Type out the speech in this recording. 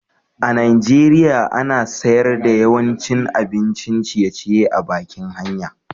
a'Nijeriya ana sayar da yawancin abin ciye-ciye a'bakin hanya.